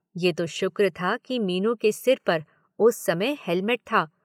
ये तो शुक्र था कि मीनू के सिर पर उस समय हेलमेट था।